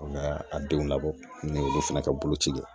An bɛ a denw labɔ ni olu fana ka boloci ye